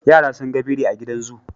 Yara sun ga biri a gidan zoo,